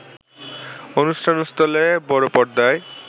অনুষ্ঠানস্থলে বড় পর্দায়